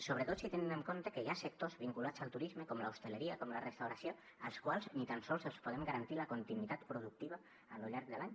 sobretot si tenen en compte que hi ha sectors vinculats al turisme com l’hostaleria com la restauració als quals ni tan sols els podem garantir la continuïtat productiva a lo llarg de l’any